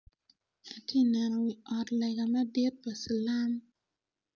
Atye ka neno wi ot lega madit pa cilam